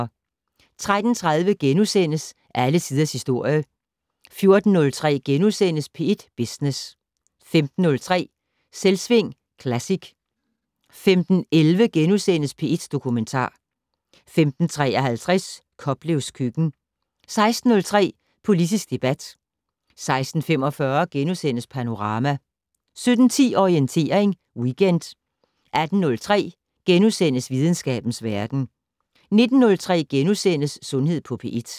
13:30: Alle tiders historie * 14:03: P1 Business * 15:03: Selvsving Classic 15:11: P1 Dokumentar * 15:53: Koplevs køkken * 16:03: Politisk debat 16:45: Panorama * 17:10: Orientering Weekend 18:03: Videnskabens verden * 19:03: Sundhed på P1 *